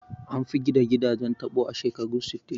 An fi gina gidajen taɓo a shekarun sittin